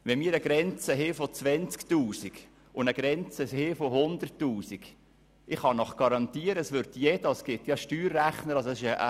Wenn wir eine Grenze von 20 000 Franken und eine von 100 000 Franken haben, würde jeder versuchen, darunter zu kommen.